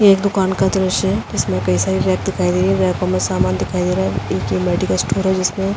ये एक दुकान का दृश्य है। जिसमे कई सारी रेक दिखाई दे रही हैं। रेक में सामान दिखाई दे रहा है। एक मेडिकल स्टोर है जिसमे --